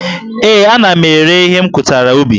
Ee, ana m ere ihe m kụtara ubi